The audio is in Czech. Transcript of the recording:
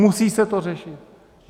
Musí se to řešit!